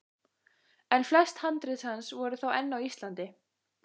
En flest handrit hans voru þá enn á Íslandi.